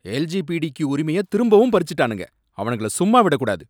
LGBTQ உரிமைய திரும்பவும் பறிச்சிட்டானுங்க, அவனுங்கள சும்மா விடக்கூடாது.